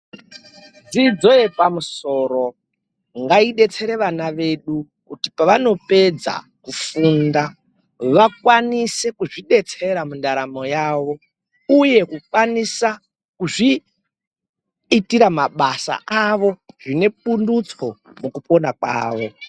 Dzidzo yepamusoro ngaibetsere vana vedu kuti pavanopedza kufunda vakwanise kuzvibetsera mundaramo yavo uye kuzviitira mabasa avo zvinepundutso mukupona mavo.